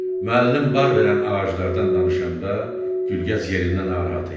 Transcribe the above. Müəllim bar verən ağaclardan danışanda Gülgəz yerindən narahat idi.